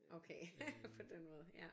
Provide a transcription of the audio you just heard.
Okay på den måde ja